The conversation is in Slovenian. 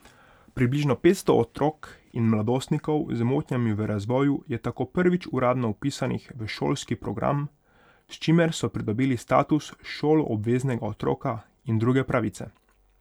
Približno petsto otrok in mladostnikov z motnjami v razvoju je tako prvič uradno vpisanih v šolski program, s čimer so pridobili status šoloobveznega otroka in druge pravice.